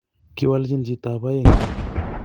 kiwalchi chitob aeng